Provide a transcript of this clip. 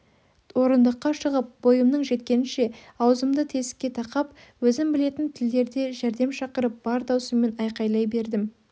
орындыққа шығып бойымның жеткенінше аузымды тесікке тақап өзім білетін тілдерде жәрдем шақырып бар дауысыммен айқайлай бердім